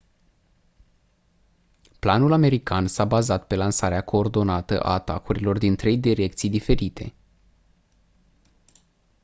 planul american s-a bazat pe lansarea coordonată a atacurilor din trei direcții diferite